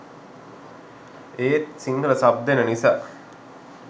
ඒත් සිංහල සබ් දෙන නිසා